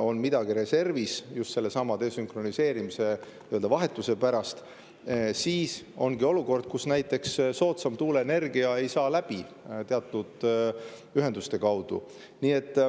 on midagi reservis, just nagu oli sellesama desünkroniseerimise, nii-öelda vahetuse ajal, siis ongi olukord, kus näiteks soodsam tuuleenergia ei saa teatud ühendustest läbi.